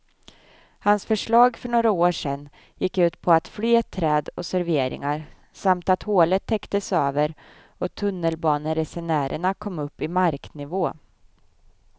Hans förslag för några år sedan gick ut på fler träd och serveringar samt att hålet täcktes över och tunnelbaneresenärerna kom upp i marknivå.